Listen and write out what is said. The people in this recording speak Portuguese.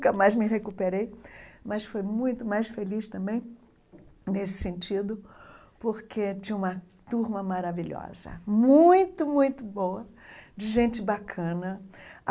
Nunca mais me recuperei, mas fui muito mais feliz também nesse sentido, porque tinha uma turma maravilhosa, muito, muito boa, de gente bacana.